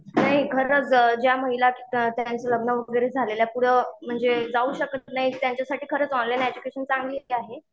नाही खरंच ज्या महिला त्यांचं लग्न वगैरे झालेल्या पुढं, म्हणजे जाऊ शकत नाहीत त्यांच्यासाठी खरंच ऑनलाईन एडज्युकेशन चांगलीच आहे.